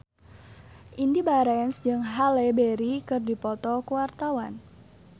Indy Barens jeung Halle Berry keur dipoto ku wartawan